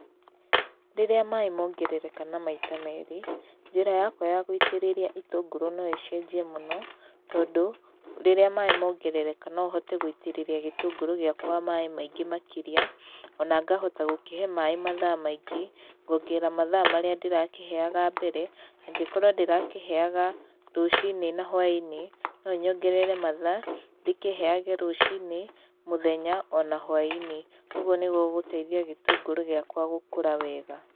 Rĩrĩa maĩ mongerereka na maita meri, njĩra yakwa ya gũitĩrĩria itũngũrũ no ĩcenjie mũno, tondũ rĩrĩa maĩ mongerereka nohote gũitĩrĩria gĩtũngũru gĩakwa maĩ maingĩ makĩria, ona ngahota gũkĩhe maĩ mathaa maingĩ ngongerera mathaa marĩa ndĩrakĩhayaga mbere, angĩkorwo ndĩrakĩheyaga rũcinĩ na hwainĩ, no nyongerere mathaa, ndĩkĩheyage rũcinĩ, mũthenya ona hwainĩ ũguo nĩ gũgũteithia gĩtũngũrũ gĩakwa gũkũra wega.